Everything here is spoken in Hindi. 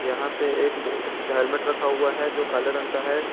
यहां पे एक हेल्मेट रखा हुआ है जो काले रंग का है।